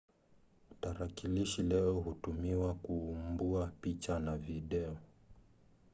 tarakilishi leo hutumiwa kuumbua picha na video